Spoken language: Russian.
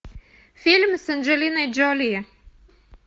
фильм с анджелиной джоли